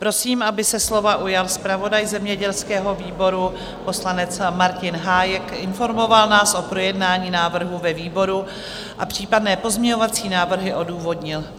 Prosím, aby se slova ujal zpravodaj zemědělského výboru poslanec Martin Hájek, informoval nás o projednání návrhu ve výboru a případné pozměňovací návrhy odůvodnil.